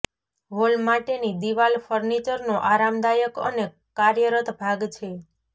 hall માટેની દિવાલ ફર્નિચરનો આરામદાયક અને કાર્યરત ભાગ છે